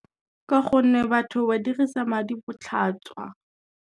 Ka gonne batho ba dirisa madi botlhatswa.